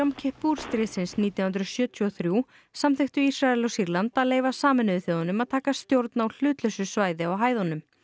kippur stríðsins nítján hundruð sjötíu og þrjú samþykktu Ísrael og Sýrland að leyfa Sameinuðu þjóðunum að taka stjórn á hlutlausu svæði á hæðunum